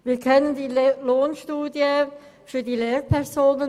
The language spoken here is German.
Wir kennen die Lohnstudie über Lehrpersonen.